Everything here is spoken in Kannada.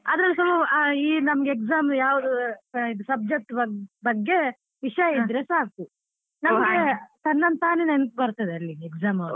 ಅದ್ರಲ್ಲೂ ಸಾ ಈ ನಮ್ಗೆ exam ಅವ್ರು ಯಾವ್ subject ಬಗ್ಗೆ ವಿಷಯ ಇದ್ರೆ ಸಾಕು ತನ್ನಂತಾನೆ ನೆನಪು ಬರ್ತದೆ ಅಲ್ಲಿ exam hall ಅಲ್ಲಿ.